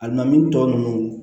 A na min tɔ nunnu